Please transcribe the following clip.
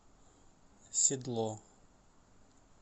седло